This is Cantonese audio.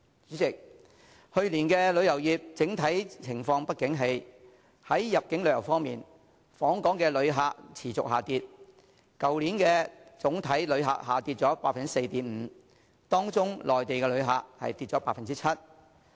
主席，去年旅遊業整體情況不景氣，在入境旅遊方面，訪港旅客量持續下跌，去年總體旅客量下跌 4.5%， 當中內地旅客人數下跌近 7%。